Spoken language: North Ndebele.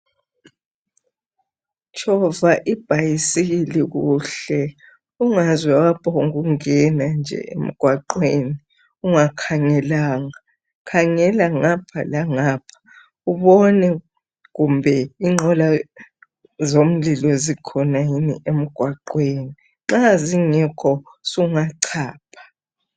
Tshova ibhayisikili kuhle ungaze waphongungena nje emgwaqweni ungakhangelanga. Khangela ngapha langapha ubone kumbe inqola zomlilo zikhona yini emgwaqweni. Nxa zingekho sungachapha.